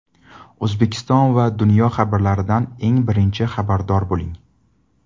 O‘zbekiston va dunyo xabarlaridan eng birinchi xabardor bo‘ling.